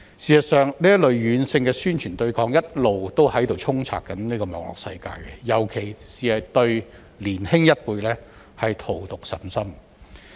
事實上，這類軟性宣傳對抗一直充斥於網絡世界，尤其是對年輕一輩荼毒甚深。